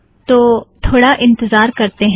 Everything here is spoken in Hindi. तो थोडा इंतज़ार करतें हैं